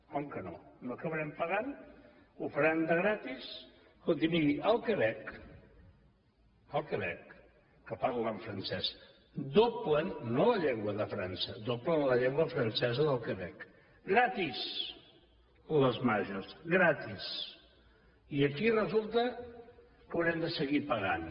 com que no no acabarem pagant ho faran gratis escolti miri al quebec al quebec que parlen francès doblen no la llengua de frança doblen la llengua francesa del quebec gratis les majorsrem de seguir pagant